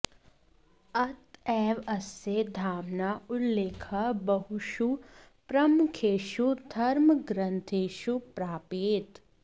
अत एव अस्य धाम्नः उल्लेखः बहुषु प्रमुखेषु धर्मग्रन्थेषु प्राप्यते